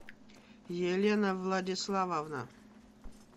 елена владиславовна